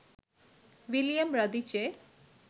William Radice